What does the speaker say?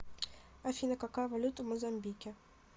афина какая валюта в мозамбике